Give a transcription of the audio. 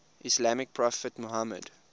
islamic prophet muhammad